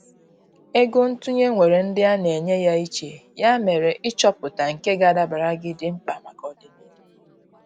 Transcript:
Ego ntụnye nwèrè ndị ana enye ya iche, ya mere ịchọpụta nke ga adabara gị, di mkpa maka ọdịnihu.